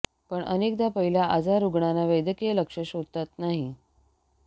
पण अनेकदा पहिल्या आजार रुग्णांना वैद्यकीय लक्ष शोधतात नाही